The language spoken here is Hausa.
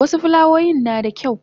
wasu fulawoyin nada kyau